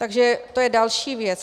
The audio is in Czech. Takže to je další věc.